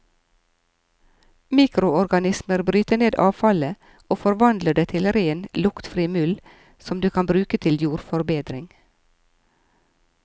Mikroorganismer bryter ned avfallet og forvandler det til ren, luktfri muld, som du kan bruke til jordforbedring.